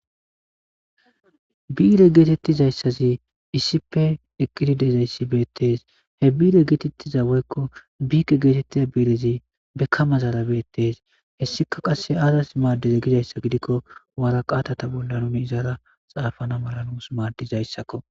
Biire geetettizayssazi iisippe eqqididezayssi beettees. he biire geetettiza woykko biike geetettida biirezi bekka mazaara beettees.hessika qass aazas maaddize gizayssa gidikko wara qaatata bollanumi izara xaafana mala nuus maaddizayssakko.